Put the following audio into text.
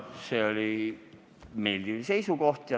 See oli meeldiv seisukoht.